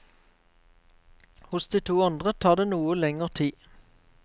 Hos de to andre tar det noe lenger tid.